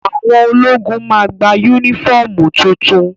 Àwọn ológun máa gba yúnífọ̀mù tuntun